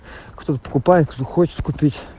кто-то покупает кто-то хочет купить